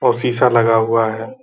और शीशा लगा हुआ है।